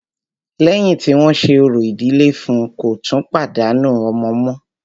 Lẹ́yìn tí wọ́n ṣe orò ìdílé fún ùn, kò tún pàdánù ọmọ mọ́.